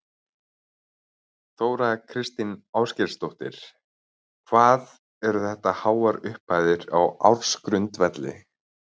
Þóra Kristín Ásgeirsdóttir: Hvað eru þetta háar upphæðir á ársgrundvelli?